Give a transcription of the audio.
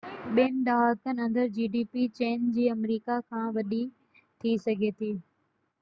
چين جي gdp ٻن ڏهاڪن اندر آمريڪا کان وڏي ٿي سگهي ٿي